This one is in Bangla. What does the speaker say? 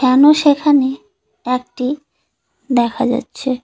মানুষ এখানে একটি দেখা যাচ্ছে।